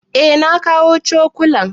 Eh na kawo cokulan.